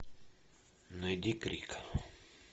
найди крик